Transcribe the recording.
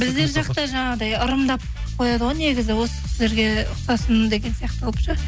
біздер жақта жаңағыдай ырымдап қояды ғой негізі осы кісілерге ұқсасын деген сияқты қылып ше